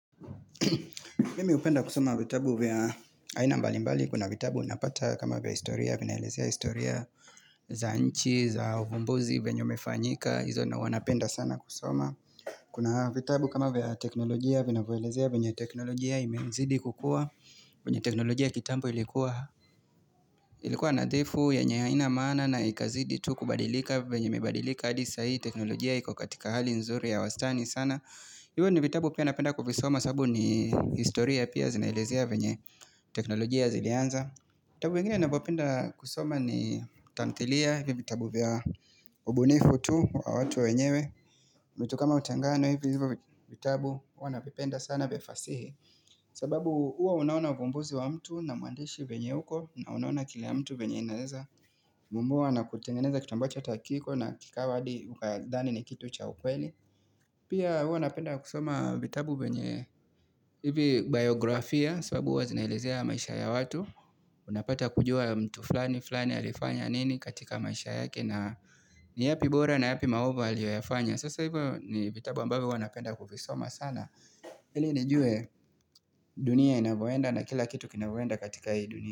Mimi hupenda kusoma vitabu vya aina mbalimbali. Kuna vitabu unapata kama vya historia, vinaelezea historia za nchi, za uvumbozi venye umefanyika. Hizo ndo huwa napenda sana kusoma. Kuna vitabu kama vya teknolojia, vinavoelezea venye teknolojia imezidi kukua. Venye teknolojia ya kitambo ilikuwa nathifu yenye haina maana na ikazidi tu kubadilika venye imebadilika. Adi saa hii teknolojia iko katika hali nzuri ya wastani sana. Hivo ni vitabu pia napenda kuvisoma sabu ni historia pia zinaelezea venye teknolojia zilianza vitabu vengine navopenda kusoma ni tamthilia ni vitabu vya ubunifu tu wa watu wenyewe vitu kama utengano hivyo vitabu huwa navipenda sana vya fasihi sababu huwa unaona uvumbuzi wa mtu na mwandishi venye uko na unaona kila mtu venye inaeza vumbua na kutengeneza kitu ambacho ata hakiko na kikawa adi ukadhani ni kitu cha ukweli Pia huwa napenda kusoma vitabu vyenye hivi biografia sabu huwa zinalezea maisha ya watu Unapata kujua mtu flani flani alifanya nini katika maisha yake na ni yapi bora na yapi maovu aliyoyafanya Sasa hivyo ni vitabu ambavyo huwa napenda kuvisoma sana ili nijue dunia inavoenda na kila kitu kinavoenda katika hii dunia.